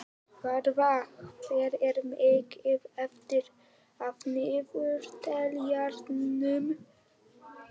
Varða, hvað er mikið eftir af niðurteljaranum?